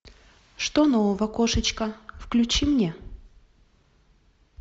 что нового кошечка включи мне